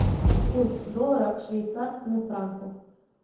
курс доллара к швейцарскому франку